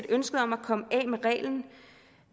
ønsket om at komme